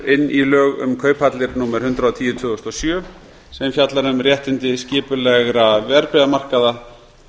inn í lög um kauphallir númer hundrað og tíu tvö þúsund og sjö sem fjallar um réttindi skipulegra verðbréfamarkaða